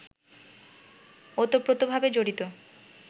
ওতপ্রোতভাবে জড়িত